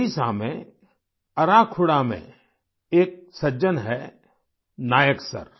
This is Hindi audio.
ओडिशा में अराखुड़ा में एक सज्जन हैं नायक सर